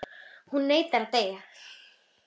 Hún neitar að deyja.